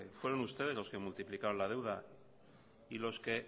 fueron ustedes los que multiplicaron la deuda y los que